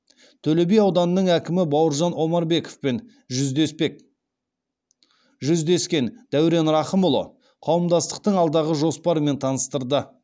төлеби ауданының әкімі бауыржан омарбековпен жүздескен дәурен рахымұлы қауымдастықтың алдағы жоспарымен таныстырды